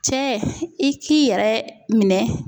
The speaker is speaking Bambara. Cɛ i k'i yɛrɛ minɛ.